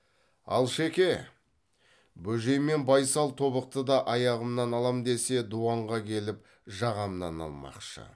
алшеке бөжей мен байсал тобықтыда аяғымнан алам десе дуанға келіп жағамнан алмақшы